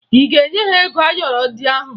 Ị ga-enye ya ego ayọrọ ndị ahụ?